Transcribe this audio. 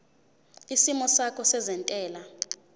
isimo sakho sezentela